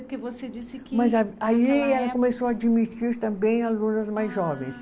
Porque você disse que. Mas a aí ela começou a admitir também alunas mais jovens. Ah